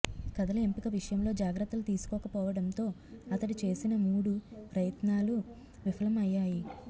కథల ఎంపిక విషయంలో జాగ్రత్తలు తీసుకోకపోవడంతో అతడు చేసిన మూడు ప్రయత్నాలూ విఫలం అయ్యాయి